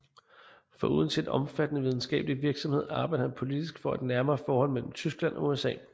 Foruden sin omfattende videnskabelige virksomhed arbejdede han politisk for et nærmere forhold mellem Tyskland og USA